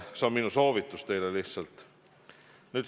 See on minu soovitus teile lihtsalt.